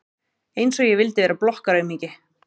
Einsog ég vildi vera blokkaraaumingi!